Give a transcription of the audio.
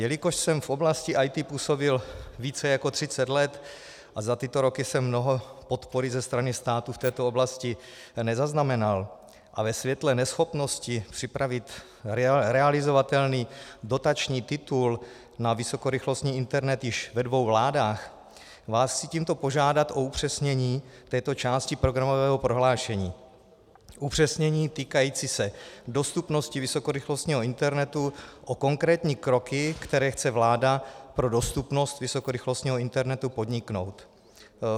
Jelikož jsem v oblasti IT působil více jak třicet let a za tyto roky jsem mnoho podpory ze strany státu v této oblasti nezaznamenal, a ve světle neschopnosti připravit realizovatelný dotační titul na vysokorychlostní internet již ve dvou vládách vás chci tímto požádat o upřesnění této části programového prohlášení, upřesnění týkající se dostupnosti vysokorychlostního internetu, o konkrétní kroky, které chce vláda pro dostupnost vysokorychlostního internetu podniknout.